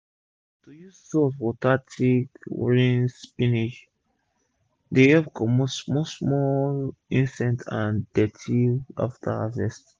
to use salt water take rinse spinach dey epp comot small small insect and dirty after harvest